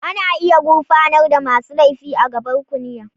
Ana iya gurfanar da masu laifi a gaban kuliya.